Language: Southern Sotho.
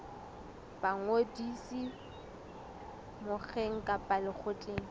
ba ngodiso mokgeng kapa lekgotleng